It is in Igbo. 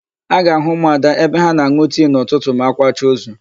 A ga-àhụ́ ụmụada ebe ha na-an̄ụ tii n'ụtụtụ ma a kwacha ozu.